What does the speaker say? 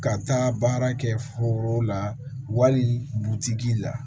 Ka taa baara kɛ foro la wali butigi la